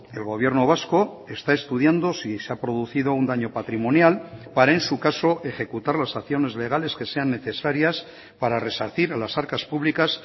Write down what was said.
el gobierno vasco está estudiando si se ha producido un daño patrimonial para en su caso ejecutar las acciones legales que sean necesarias para resarcir a las arcas públicas